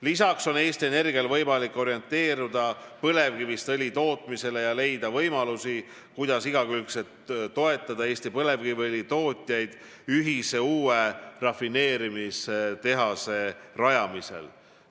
Lisaks on Eesti Energial võimalik orienteeruda põlevkivist õli tootmisele ja leida võimalusi, kuidas igakülgselt toetada Eesti põlevkiviõlitootjaid ühise uue rafineerimistehase rajamisel.